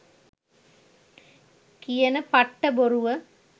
කියන පට්ට බොරුව